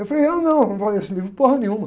Eu falei, ah, não, eu não vou ler esse livro nenhuma.